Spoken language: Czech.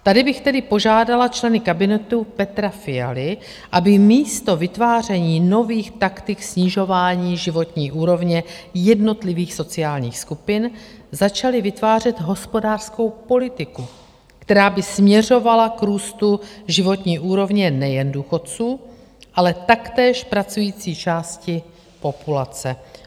Tady bych tedy požádala členy kabinetu Petra Fialy, aby místo vytváření nových taktik snižování životní úrovně jednotlivých sociálních skupin začali vytvářet hospodářskou politiku, která by směřovala k růstu životní úrovně nejen důchodců, ale taktéž pracující části populace.